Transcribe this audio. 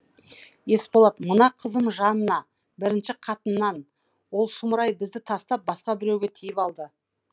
есболат мына қызым жанна бірінші қатыннан ол сұмырай бізді тастап басқа біреуге тиіп алды